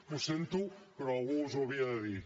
ho sento però algú us ho havia de dir